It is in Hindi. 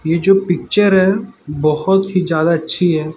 ये जो पिक्चर है बहोत ही ज्यादा अच्छी है।